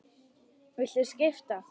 Viltu skipta?